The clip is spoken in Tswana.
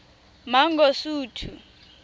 mangosuthu